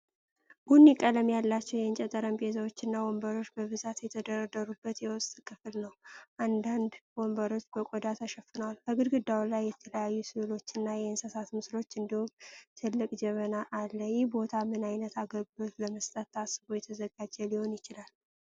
ቡኒ ቀለም ያላቸው የእንጨት ጠረጴዛዎችና ወንበሮች በብዛት የተደረደሩበት የውስጥ ክፍል ነው፤ አንዳንድ ወንበሮች በቆዳ ተሸፍነዋል። ከግድግዳው ላይ የተለያዩ ሥዕሎችና የእንስሳት ምስሎች፣ እንዲሁም ትልቅ ጀበና አለ፤ ይህ ቦታ ምን ዓይነት አገልግሎት ለመስጠት ታስቦ የተዘጋጀ ሊሆን ይችላል?